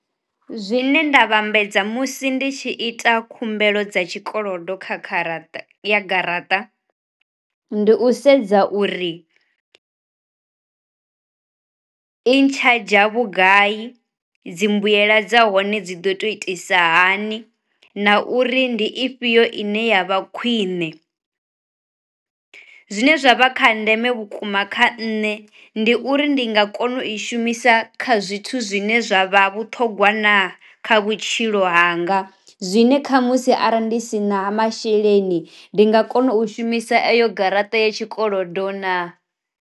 Zwine nda vhambedza musi ndi tshi ita khumbelo dza tshikolodo kha kha garaṱa, ndi u sedza uri i ntsha dzha vhugai, dzi mbuyela dza hone dzi do to itisa hani, na uri ndi ifhio ine ya vha khwine. Zwine zwa vha kha ndeme vhukuma kha nṋe ndi uri ndi nga kona u i shumisa kha zwithu zwine zwa vha vhuṱhogwa na kha vhutshilo hanga zwine kha musi arali ndi si na masheleni ndi nga kona u shumisa eyo garaṱa ya tshikolodo na.